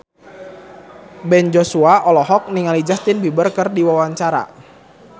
Ben Joshua olohok ningali Justin Beiber keur diwawancara